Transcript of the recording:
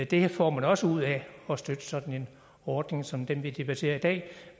det får man også ud af at støtte sådan en ordning som den vi debatterer i dag